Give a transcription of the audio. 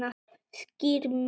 Skýr mörk